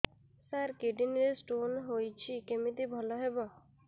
ସାର kidney ରେ stone ହେଇଛି କମିତି ଭଲ ହେବ